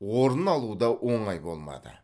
орын алу да оңай болмады